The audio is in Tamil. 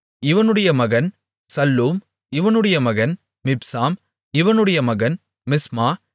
இவனுடைய மகன் சல்லூம் இவனுடைய மகன் மிப்சாம் இவனுடைய மகன் மிஸ்மா